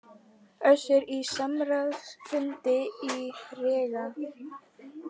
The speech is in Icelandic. Össur á samráðsfundi í Riga